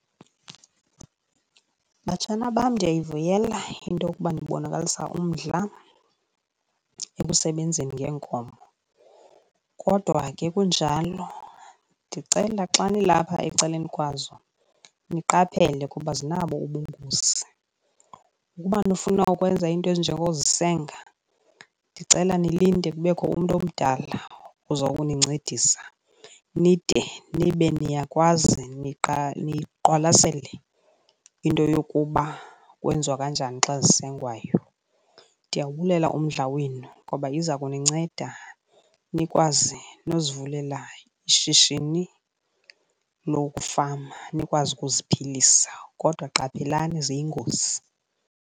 Batshana bam, ndiyayivula into yokuba nibonakalisa umdla ekusebenzeni ngeenkomo, kodwa ke kunjalo ndicela xa nilapha ecaleni kwazo niqaphela kuba zinabo ubungozi. Ukuba nifuna ukwenza iinto ezinjengozisenga ndicela nilinde kubekho umntu omdala ozokunincedisa nide nibe niyakwazi niqwalasele into yokuba kwenziwa kanjani xa zisengwayo. Ndiyawubulela umdla wenu ngoba iza kuninceda nikwazi nozivulela ishishini lokufama nikwazi ukuziphilisa, kodwa qaphelani ziyingozi.